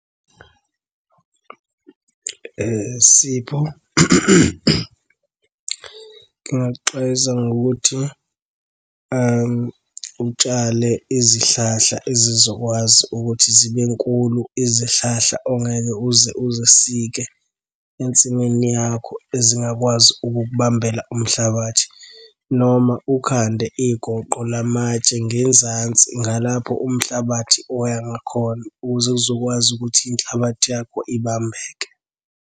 Sipho, ngingakuxwayisa ngokuthi utshale izihlahla ezizokwazi ukuthi zibe nkulu, izihlahla ongeke uze uzisike ensimini yakho ezingakwazi ukukubambela umhlabathi, noma ukhande igoqo lamatshe ngenzansi ngalapho umhlabathi oya ngakhona ukuze uzokwazi ukuthi inhlabathi yakho ibambeke.